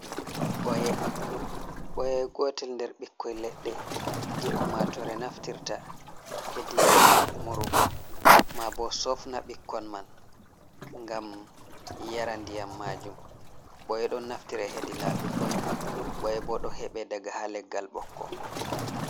Ɓooye. Ɓooye gotel nder ɓikkoi leɗɗe jei ummatore naftirta hedi murugo, maabo sofna ɓikkon man ngam yara ndiyam majum. Ɓooye ɗon naftira hedi laabi boi. Ɓooye bo ɗo heɓe daga haa leggal ɓokko.